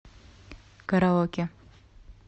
караоке